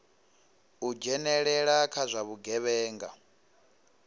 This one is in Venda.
u dzhenelela kha zwa vhugevhenga